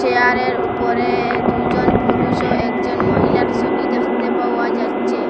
চেয়ারের -এর উপরে দুইজন পুরুষ ও একজন মহিলার ছবি দেখতে পাওয়া যাইচ্ছে।